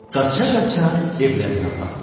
Qaça-qaça evlərinə apardı.